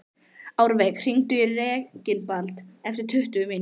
Árveig, hringdu í Reginbald eftir tuttugu mínútur.